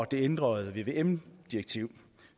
det ændrede vvm direktiv